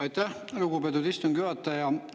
Aitäh, lugupeetud istungi juhataja!